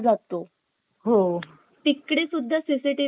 तिकडे सुद्धा CCTV camera हा असतोच बघ